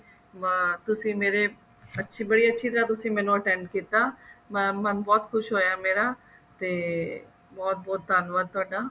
ਤੁਸੀਂ ਮੇਰੇ ਬੜੀ ਅੱਛੀ ਤਰ੍ਹਾਂ ਤੁਸੀਂ ਮੈਨੂੰ attend ਕੀਤਾ ਮਨ ਬਹੁਤ ਖੁਸ਼ ਹੋਇਆ ਮੇਰਾ ਤੇ ਬਹੁਤ ਬਹੁਤ ਧੰਨਵਾਦ ਤੁਹਾਡਾ